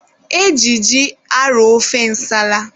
E ji ji arọ ofe nsala.